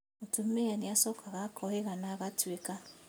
Mũtumia nĩacokaga akohĩga na agatuĩka